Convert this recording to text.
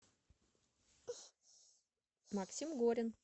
максим горин